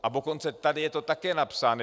A dokonce tady je to také napsáno.